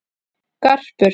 Garpur